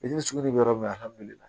Bitiri sugu de bɛ yɔrɔ min na alihamidulilayi